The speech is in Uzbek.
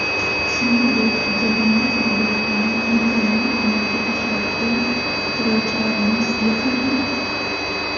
Shuningdek, jarima zarbalalarini mukammal amalga oshiradigan ijrochilarimiz yetarli.